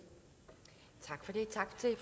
så